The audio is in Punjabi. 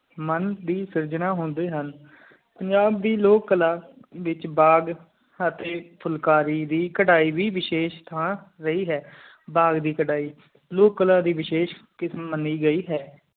ਮਨ ਦੀ ਸਰਜਨ ਹੋਂਦੇ ਹਾਂ ਪੰਜਾਬ ਦੀ ਲੋਕ ਕਲਾ ਬੀਚ ਬਾਗ਼ ਅਹਾਟੀ ਫੁਲਕਾਰੀ ਦੀ ਕਰਹਿ ਵੀ ਵਸ਼ੇਸ਼ ਥਾ ਰਾਇ ਹੈ ਬਾਗ਼ ਦੀ ਕਰਹਿ ਲੋਕ ਕਲਾ ਦੀ ਵਸ਼ੀਸ਼ ਮੰਨੀ ਗਈ ਹੈ